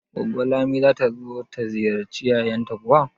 Goggo Lami zata zo ta ziyarci yayanta kuwa?